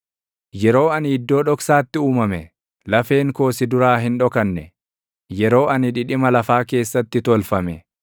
Yeroo ani iddoo dhoksaatti uumame, lafeen koo si duraa hin dhokanne. Yeroo ani dhidhima lafaa keessatti tolfame,